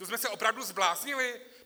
To jsme se opravdu zbláznili?!